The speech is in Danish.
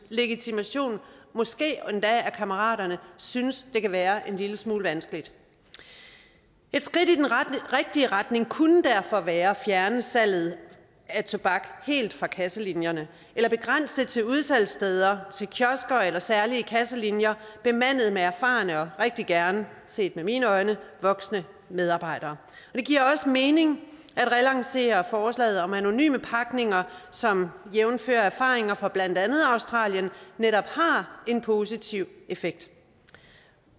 legitimation måske endda af kammeraterne synes det kan være en lille smule vanskeligt et skridt i den rigtige retning kunne derfor være at fjerne salget af tobak helt fra kasselinjerne eller begrænse det til nogle udsalgssteder kiosker eller særlige kasselinjer bemandet med erfarne medarbejdere og rigtig gerne set med mine øjne voksne medarbejdere det giver også mening at relancere forslaget om anonyme pakninger som jævnfør erfaringer fra blandt andet australien netop har en positiv effekt